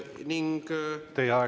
Teie aeg!